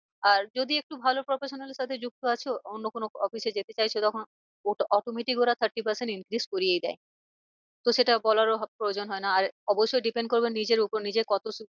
আর যদি একটু ভালো professional এর সাথে যুক্ত আছো অন্য কোনো office এ যেতে চাইছো তখন automatic ওরা thirty percent increase করিয়েই দেয়। তো সেটা বলারও প্রয়োজন হয় না আর অবশ্যই depend করবে নিজের উপর নিজের